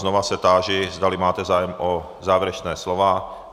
Znova se táži, zdali máte zájem o závěrečná slova.